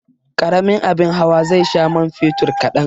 Karamin abin hawa zai sha man fetur kadan.